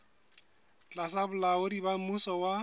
tlasa bolaodi ba mmuso wa